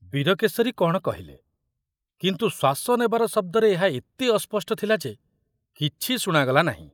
ବୀରକେଶରୀ କଣ କହିଲେ, କିନ୍ତୁ ଶ୍ୱାସ ନେବାର ଶବ୍ଦରେ ଏହା ଏତେ ଅସ୍ପଷ୍ଟ ଥିଲା ଯେ କିଛି ଶୁଣାଗଲା ନାହିଁ।